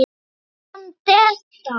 Myndi hann detta?